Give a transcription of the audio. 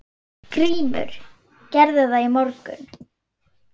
GRÍMUR: Gerði það í morgun!